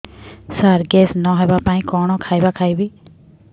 ସାର gas ନ ହେବା ପାଇଁ କଣ ଖାଇବା ଖାଇବି